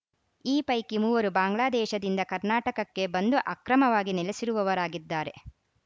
ಈ ಪೈಕಿ ಮೂವರು ಬಾಂಗ್ಲಾದೇಶದಿಂದ ಕರ್ನಾಟಕಕ್ಕೆ ಬಂದು ಅಕ್ರಮವಾಗಿ ನೆಲೆಸಿರುವವರಾಗಿದ್ದಾರೆ